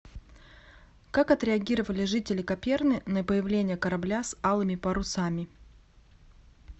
как отреагировали жители каперны на появление корабля с алыми парусами